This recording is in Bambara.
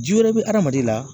Ji wɛrɛ bɛ hadamaden la